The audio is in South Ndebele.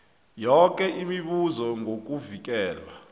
yoke imibuzo ngokuvikelwa